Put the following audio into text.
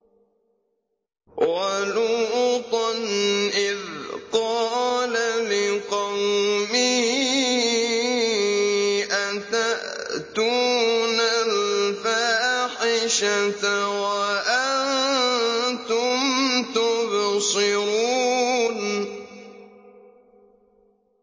وَلُوطًا إِذْ قَالَ لِقَوْمِهِ أَتَأْتُونَ الْفَاحِشَةَ وَأَنتُمْ تُبْصِرُونَ